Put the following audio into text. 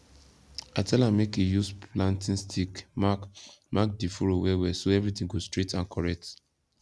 i tell am make he use planting stick mark mark the furrow well well so everything go straight and correct